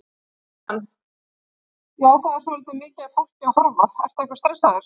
Kjartan: Já, það er svolítið mikið af fólki að horfa, ertu eitthvað stressaður?